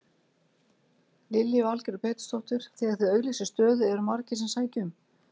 Lillý Valgerður Pétursdóttir: Þegar þið auglýsið stöðu eru margir sem sækja um?